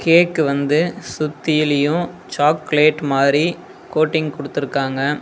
கேக்கு வந்து சுத்தியிலியு சாக்லேட் மாறி கோட்டிங் குடுத்திருக்காங்க.